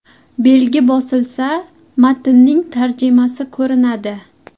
Belgi bosilsa, matnning tarjimasi ko‘rinadi.